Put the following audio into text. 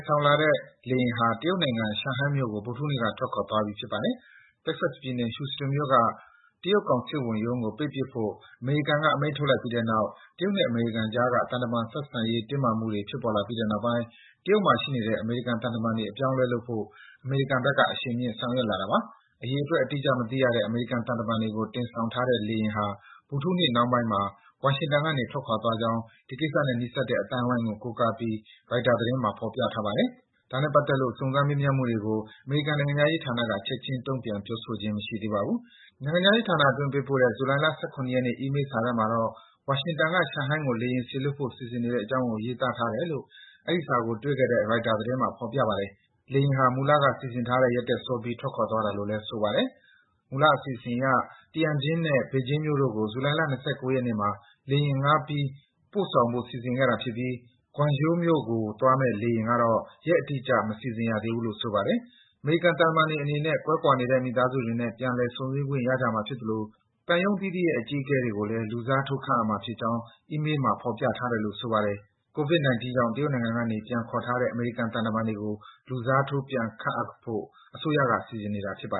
ဆောင်သွားတဲ့ လေယာဉ်ဟာ တရုတ်နိုင်ငံ ရှန်ဟိုင်းမြို့ကို ဗုဒ္ဓဟူးနေ့က ထွက်ခွာသွားပြီ ဖြစ်ပါတယ်။ Texas ပြည်နယ်၊ Houston မြို့က တရုတ်ကောင်စစ်ဝန်ရုံးကို ပိတ်ပစ်ဖို့ အမေရိကန်က အမိန့်ထုတ်လိုက်ပြီးတဲ့နောက် တရုတ်နဲ့ အမေရိကန်အကြား သံတမန်ရေး တင်းမာမှုတွေ ဖြစ်ပေါ်လာပြီးတဲ့နောက် တရုတ်မှာရှိနေတဲ့ အမေရိကန်သံတမန်တွေ အပြောင်းအလဲလုပ်ဖို့ အမေရိကန်ဘက်က အရှိန်မြင့် ဆောင်ရွက် လာတာပါ။ အရေအတွက် အတိအကျ မသိရတဲ့ အမေရိကန်သံတမန်တွေကို တင်ဆောင်ထားတဲ့ လေယာဉ်ဟာ ဗုဒ္ဓဟူးနေ့နှောင်းမှာ ဝါရှင်တန်ကနေ ထွက်ခွာသွားကြောင်း ဒီကိစ္စနဲ့ နီးစပ်တဲ့အသိုင်းဝိုင်းကို ကိုးကားပြီး ရိုက်တာသတင်းမှာ ဖော်ပြထားပါတယ်။ ဒီကိစ္စနဲ့ပတ်သက်လို့ စုံစမ်း မေးမြန်းမှုတွေကို အမေရိကန် နိုင်ငံခြားရေးဌာနကလည်း ချက်ခြင်း တုံ့ပြန် ပြောဆိုခြင်း မရှိသေးပါဘူး။ နိုင်ငံခြားရေးဌာနအတွင်း ပေးပို့တဲ့ ဇူလိုင် ၁၇ ရက်နေ့စာထဲမှာတော့ ဝါရှင်တန်က ရှန်ဟိုင်းကို လေယာဉ်စေလွတ်ဖို့ စီစဉ်နေတဲ့အကြောင်းကို ရေးသားထားတယ်လို့ အဲဒီစာကို တွေ့ခဲ့တဲ့ ရိုက်တာသတင်းမှာ ဖော်ပြပါတယ်။ လေယာဉ်ဟာ မူလက စီစဉ်ထားတဲ့ရက်ထက်စောပြီး ထွက်ခွာသွားတာလို့လည်း ဆိုပါတယ်။ မူလအစီအစဉ်အရ Tianjin နဲ့ ဘေဂျင်းမြို့တို့ကို ဇူလိုင်လ ၂၉ ရက်နေ့မှာ လေယာဉ်ငှားပြီး ပို့ဆောင်ဖို့ စီစဉ်ထားခဲ့တာဖြစ်ပြီး Guangzhou မြို့ကိုသွားမယ့် လေယာဉ်ကတော့ ရက်အတိအကျ မစီစဉ်ရသေးဘူးလို့ ဆိုပါတယ်။ အမေရိကန်သံတမန်တွေအနေနဲ့ ကွဲကွာနေတဲ့ မိသားစုတွေနဲ့ ပြန်လည် ဆုံဆည်းခွင့်ရကြမှာဖြစ်သလို ရုံးအသီးသီးရဲ့ အကြီးအကဲတွေ ကိုလည်း လူစားထိုး ခန့်အပ်မှာဖြစ်ကြောင်း အီးမေးမှာ ဖော်ပြထားတယ်လို့ ဆိုပါတယ်။ ကိုဗစ် ၁၉ ကြောင့် တရုတ်နိုင်ငံကနေ ပြန်ခေါ်ထားတဲ့ အမေရိကန်သံတမန်တွေကို လူစားထိုး ပြန်ခန့်ဖို့ အစိုးရက စီစဉ်နေတာပါ